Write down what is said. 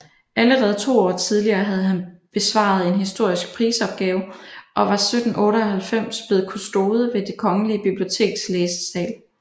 Allerede to år tidligere havde han besvaret en historisk prisopgave og var 1798 blevet kustode ved Det Kongelige Biblioteks læsesal